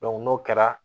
n'o kɛra